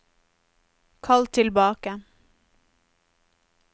kall tilbake